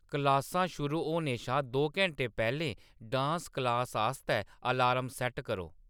क्लासां शुरू होने शा दो घैंटे पैह्‌‌‌लें डांस क्लास आस्तै अलार्म सैट्ट करो